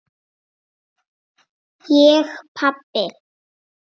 Ég pabbi!